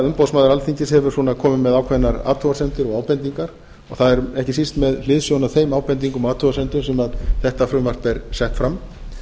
umboðsmaður alþingis hefur komið með ákveðnar athugasemdir og ábendingar og það er ekki síst með hliðsjón af þeim ábendingum og athugasemdum sem þetta frumvarp er sett fram